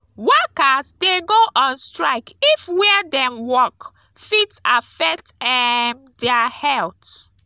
workers de go on strike if where dem walk fit affect um their health